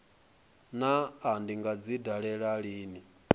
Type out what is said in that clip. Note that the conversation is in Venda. naa ndi nga dzi dalela lini